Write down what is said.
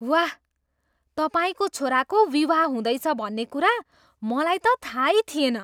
वाह! तपाईँको छोराको विवाह हुँदैछ भन्ने कुरा मलाई त थाहै थिएन!